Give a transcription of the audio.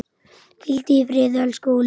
Hvíldu í friði, elsku Óli.